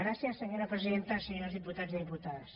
gràcies senyora presidenta senyors diputats i diputades